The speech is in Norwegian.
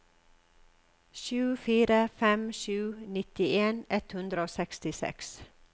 sju fire fem sju nittien ett hundre og sekstiseks